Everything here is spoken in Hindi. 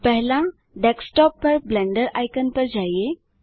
पहला डेस्कटॉप पर ब्लेंडर आइकन पर जाएँ